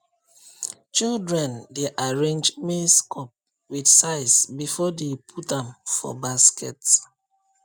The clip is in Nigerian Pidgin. children dey arrange maize cob with size before dey put am for basket